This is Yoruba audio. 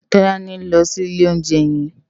Tolani n lò si ilé óunjè yèn